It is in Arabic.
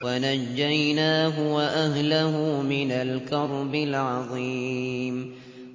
وَنَجَّيْنَاهُ وَأَهْلَهُ مِنَ الْكَرْبِ الْعَظِيمِ